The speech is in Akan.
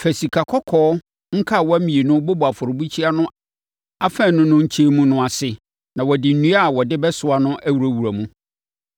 Fa sikakɔkɔɔ nkawa mmienu bobɔ afɔrebukyia no afanu no nkyɛn mu ase na wɔde nnua a wɔde bɛsoa no awurawura mu.